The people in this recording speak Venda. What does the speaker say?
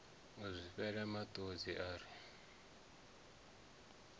u zwifhela matodzi a ri